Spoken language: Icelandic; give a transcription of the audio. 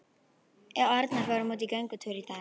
Við Arnar fórum út í göngutúr í dag.